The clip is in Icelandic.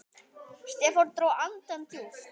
Stefán dró andann djúpt.